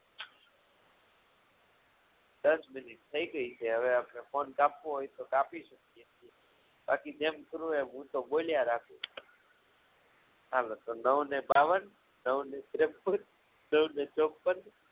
દસ મિનિટ થઈ ગઈ છે હવે આપણે phone કાપવો હોય તો કાપી શકીએ છીએ બાકી જેમ કરવું હોય એમ હું તો બોલ્યા રાખુ હાલો તો નવને બાવવાન નવ ને ત્રેપ્પન નવ ને ચોપ્પન